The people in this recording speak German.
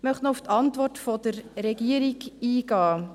Ich möchte noch auf die Antwort der Regierung eingehen.